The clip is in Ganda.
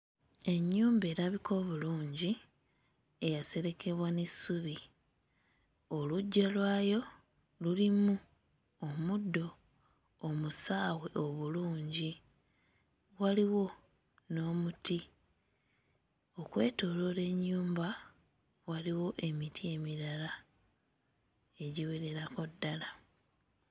Ennyumba erabika obulungi eyaserekebwa n'essubi oluggya lwayo lulimu omuddo omusaawe obulungi waliwo n'omuti. Okwetooloola ennyumba waliwo emiti emirala egiwererako ddala.